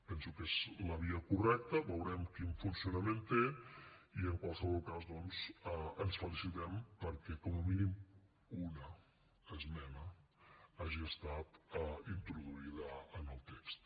penso que és la via correcta veurem quin funcionament té i en qualsevol cas doncs ens felicitem perquè com a mínim una esmena hagi estat introduïda en el text